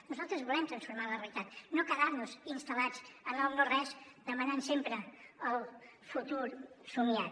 nosaltres volem transformar la realitat no quedar nos instal·lats en el no res demanant sempre el futur somiat